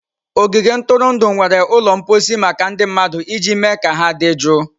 Ogige ntụrụndụ nwere ụlọ mposi maka ndị mmadụ iji mee ka ha dị jụụ.